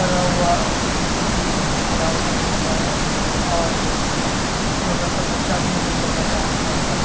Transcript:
हवा के बिचो बिच खड़ा हो कर देख रहा है और एक छोटा सा बच्चा भी है जो चोहदा पन्द्रा साल का है।